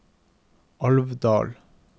Alvdal